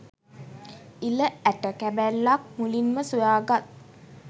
ඉළ ඇට කැබැල්ලක් මුලින්ම සොයා ගත්